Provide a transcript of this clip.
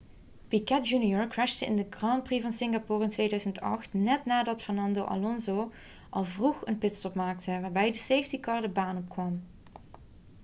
piquet jr crashte in de grand prix van singapore in 2008 net nadat fernando alonso al vroeg een pitstop maakte waarbij de safety car de baan opkwam